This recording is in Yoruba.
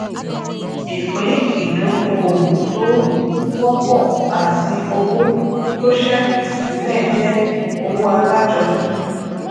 iṣé àjọṣepò jé èdà ìdókòwò tí ó jẹ òun tí òfin yà sótò kúrò lára olóun